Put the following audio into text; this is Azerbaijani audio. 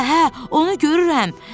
Hə, hə, onu görürəm.